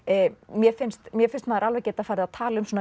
mér finnst mér finnst maður alveg geta farið að tala um svona